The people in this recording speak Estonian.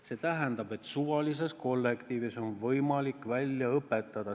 See tähendab, et suvalises kollektiivis on võimalik inimesed välja õpetada.